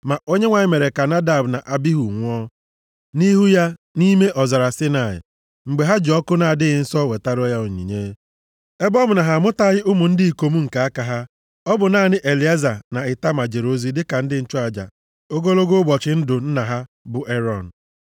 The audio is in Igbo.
Ma Onyenwe anyị mere ka Nadab na Abihu nwụọ, nʼihu ya nʼime ọzara Saịnaị, mgbe ha ji ọkụ na-adịghị nsọ wetara ya onyinye. Ebe ọ bụ na ha amụtaghị ụmụ ndị ikom nke aka ha, ọ bụ naanị Elieza na Itama jere ozi dịka ndị nchụaja ogologo ụbọchị ndụ nna ha bụ Erọn.